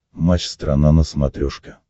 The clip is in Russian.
матч страна на смотрешке